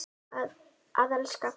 Að elska.